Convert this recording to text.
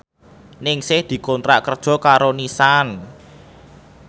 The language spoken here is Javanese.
Ningsih dikontrak kerja karo Nissan